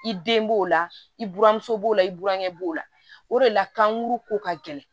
I den b'o la i buranmuso b'o la i burankɛ b'o la o de la kankuru ko ka gɛlɛn